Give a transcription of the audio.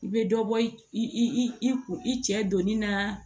I bɛ dɔ bɔ i i i cɛ donni na